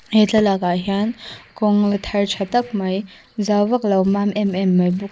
he thlalak ah hian kawng la thar tha tak mai zau vaklo mam em em mai bawk--